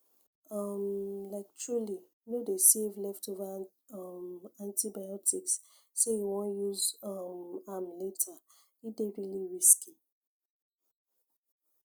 um liketruly no dey save leftover um antibiotics say you wan use um am later e dey really risky